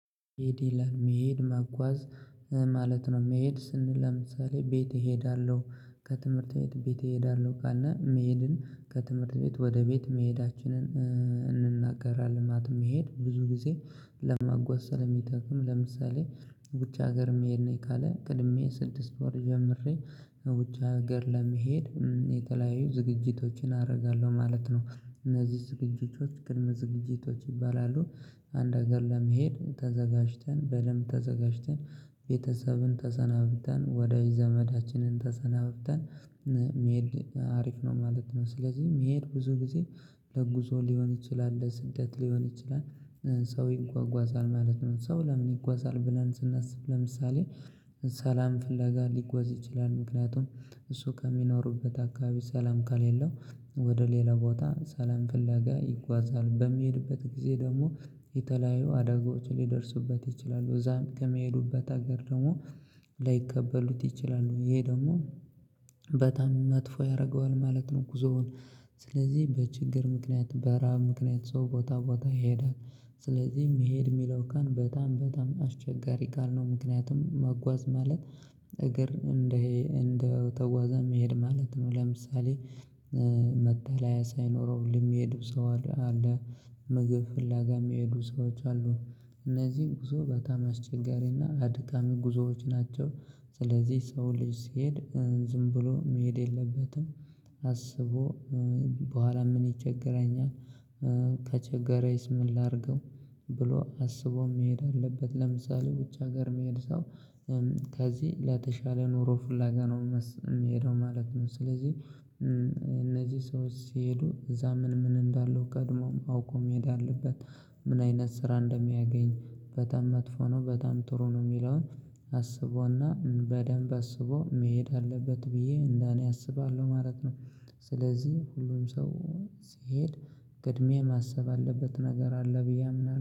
መሄድ መሄድ ማጓዝ ማለት ነው። መሄድ ስንል ለምሳሌ ቤት እሄዳለሁ ከትምህርት ቤት እሄዳለሁ ቃል እና መሄድን ከትምህርት ቤት ወደ ቤት መሄዳችንን እንናገራለን። ማለት ብዙ ጊዜ ለማጓዝ ስለሚጠቅም። ለምሳሌ ውጭ ሀገር መሄድ ነኝ ካለ ቀድሜ ስድስት ወር ጀምሬ ውጭ ሀገር ለመሄድ የተለያዩ ዝግጅቶችን አደርጋለሁ ማለት ነው። እነዚህ ዝግጅቶች ይባላሉ። አንድ ሀገር ለመሄድ ተዘጋጅተን በደንብ ተዘጋጅተን ቤተሰብን ተሰናብተን ወዳጅ ዘመዳችንን ተሰናብተን ሜድ አሪፍ ነው ማለት ነው። ስለዚህ መሄድ ብዙ ጊዜ ለጉዞ ሊሆን ይችላል ለስደት ሊሆን ይችላል። ሰው ይጓጓዛል ማለት ነው ሰው ለምን ይጓዛል ብለን ስናስብ? ለምሳሌ ሰላም ፍላጋ ሊጓዝ ይችላል። ምክንያቱም እሱ ከሚኖሩበት አካባቢ ሰላም ከሌለው ወደ ሌላ ቦታ ሰላም ፍለጋ ይጓዛል። በሚሄድበት ጊዜ ደግሞ የተለያዩ አደጋዎች ሊደርሱበት ይችላሉ። እዛም ከመሄዱበት ሀገር ደግሞ ላይቀበሉት ይችላሉ። ይሄ ደግሞ በጣም መጥፎ ያደርገዋል ማለት ነው። ጉዞውን ስለዚህ በችግር ምክንያት በረሃብ ምክንያት ሰው ቦታ ቦታ ይሄዳል። ስለዚህ መሄድ የሚለው ቃል በጣም በጣም አስቸጋሪ ጋር ነው ምክንያቱም መጓዝ ማለት። እግር እንደ እንደው ተጓዛ መሄድ ማለት ነው። ለምሳሌ መጠላያ ሳይኖረው የሚሄዱ ሰው አለ። ምግብ ፍላጋ የሚሄዱ ሰዎች አሉ። እነዚህን ጉዞ በጣም አስቸጋሪና አድካሚ ጉዞዎች ናቸው። ስለዚህ ሰው ልጅ ሲሄድ ዝም ብሎ መሄድ የለበትም። አስቦ በኋላ ምን ይቸግራኛል? ከቸገረው ስምን ላድርገው? ብሎ አስቦ መሄድ አለበት። ለምሳሌ ውጭ ሀገር መሄድ ሰው ከዚህ ለተሻለ ኑሮ ፉላጋ ነው የሚሄደው ማለት ነው። ስለዚህ እነዚህ ሰዎች ሲሄዱ እዛ ምን ምን እንዳለው ቀድሞም አውቆም መሄድ አለበት። ምን አይነት ስራ እንደሚያገኝ በጣም መጥፎ ነው በጣም ጥሩ ነው። የሚለውን አስቦና በደንብ አስቦ መሄድ አለበት ብዬ እንደ እኔ አስባለሁ ማለት ነው። ስለዚህ ሁሉም ሰው ሲሄድ ቅድምያ ማሰብ አለበት ነገር አለ ብዬ አምናለሁ